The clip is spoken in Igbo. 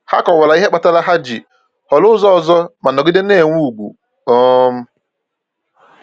Ha kọwara ihe kpatara ha ji họrọ ụzọ ọzọ, ma nọgide na-enwe ùgwù. um